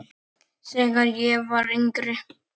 Þegar ég var yngri.